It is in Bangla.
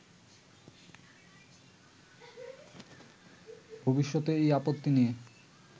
ভবিষ্যতে এই আপত্তি নিয়ে